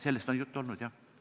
Sellest on juttu olnud, jah.